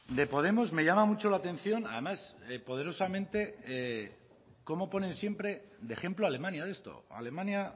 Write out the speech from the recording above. de podemos me llama mucho la atención además poderosamente cómo ponen siempre de ejemplo alemania de esto alemania